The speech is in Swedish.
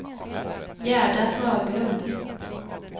Gerda Höglund